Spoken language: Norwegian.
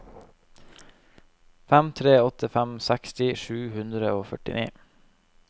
fem tre åtte fem seksti sju hundre og førtini